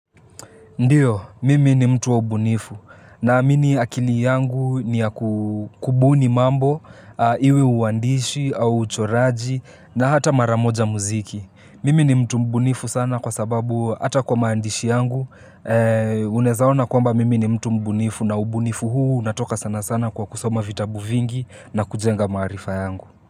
Ndio, mimi ni mtu wa ubunifu na amini akili yangu ni ya kubuni mambo iwe uandishi au uchoraji na hata mara moja muziki. Mimi ni mtu mbunifu sana kwa sababu hata kwa maandishi yangu unaeza ona kwamba mimi ni mtu mbunifu na ubunifu huu unatoka sana sana kwa kusoma vitabu vingi na kujenga maarifa yangu.